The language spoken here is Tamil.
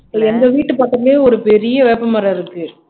எங்க வீட்டு பக்கமே ஒரு பெரிய வேப்பமரம் இருக்கு